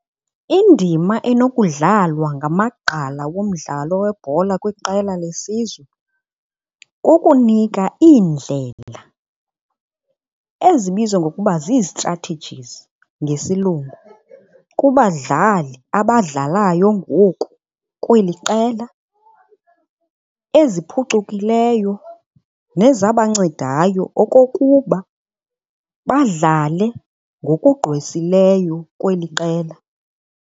Indima enokudlalwa ngamagqala womdlalo webhola kwiqela lesizwe kukunika iindlela ezibizwa ngokuba zi-strategies ngesilungu kubadlali abadlalayo ngoku kweli qela eziphucukileyo nezabancedayo okokuba badlale ngokugqwesileyo kweli qela.